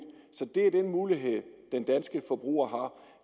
så det er den mulighed den danske forbruger har